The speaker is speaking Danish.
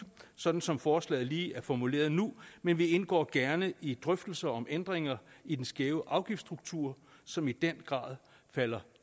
sådan som forslaget lige er formuleret nu men vi indgår gerne i drøftelser om ændringer i den skæve afgiftsstruktur som i den grad falder